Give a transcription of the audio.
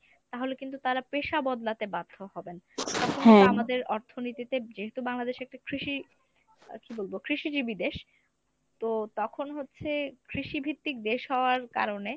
তাহলে কিন্তু তারা পেশা বদলাতে বাধ্য হবেন। আমাদের অর্থনীতিতে যেহেতু বাংলাদেশ একটা কৃষি আহ কী বলবো কৃষিজীবি দেশ তো তখন হচ্ছে কৃষি ভিত্তিক দেশ হওয়ার কারণে